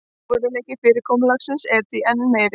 Trúverðugleiki fyrirkomulagsins er því enn meiri